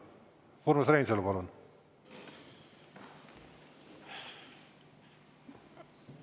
Urmas Reinsalu, palun!